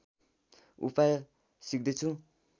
उपाय सिक्दैछु